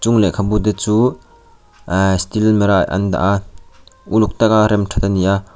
chung lekhabu te chu ahh steel almira ah an dah a uluk taka rem that ani a.